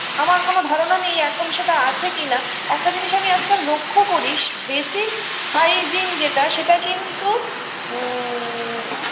আমার কোনো ধারণা নেই এখন সেটা আছে কিনা একটা জিনিস আমি আজকাল লক্ষ্য করি স basic hygiene -যেটা সেটা কিন্তু উ ম